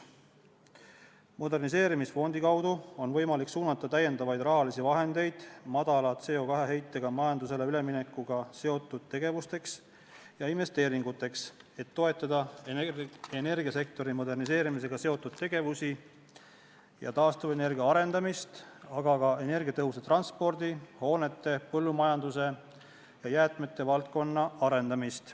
Moderniseerimisfondi kaudu on võimalik suunata täiendavaid rahalisi vahendeid väikese CO2 heitega majandusele üleminekuga seotud tegevustesse ja investeeringutesse, et toetada energiasektori moderniseerimisega seotud tegevusi ja taastuvenergia arendamist, aga ka energiatõhusa transpordi ja põllumajanduse ning energiatõhusate hoonete ja jäätmete valdkonna arendamist.